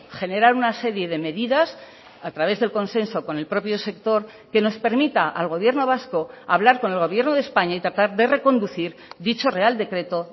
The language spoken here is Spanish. generar una serie de medidas a través del consenso con el propio sector que nos permita al gobierno vasco hablar con el gobierno de españa y tratar de reconducir dicho real decreto